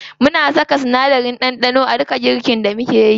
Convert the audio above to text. Muna saka sinadarin ɗanɗano a duka girkin da mukeyi.